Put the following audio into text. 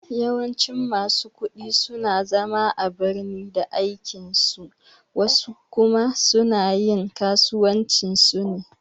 Yawancin masu ƙudi suna zama a birni da aikin su wasu kuma suna yin kasuwancin su ne